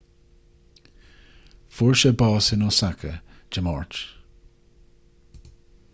fuair sé bás in osaka dé máirt